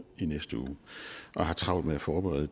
i næste uge og har travlt med at forberede